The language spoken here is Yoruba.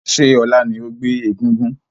Ṣé ọ̀la ni ó gbé egúngún?